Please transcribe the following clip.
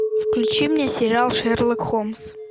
включи мне сериал шерлок холмс